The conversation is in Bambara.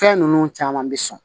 Fɛn ninnu caman bɛ sɔn